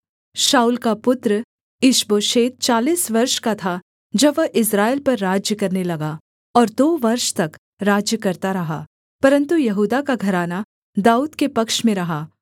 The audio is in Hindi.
शाऊल का पुत्र ईशबोशेत चालीस वर्ष का था जब वह इस्राएल पर राज्य करने लगा और दो वर्ष तक राज्य करता रहा परन्तु यहूदा का घराना दाऊद के पक्ष में रहा